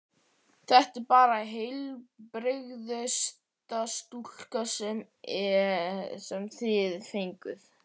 Þetta er bara heilbrigðasta stúlka sem þið fenguð.